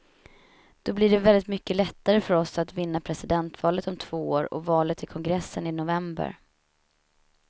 Då blir det väldigt mycket lättare för oss att vinna presidentvalet om två år och valet till kongressen i november.